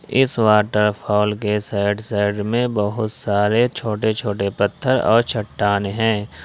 इस वॉटरफॉल के side side में बहुत सारे छोटे छोटे पत्थर और चट्टान है।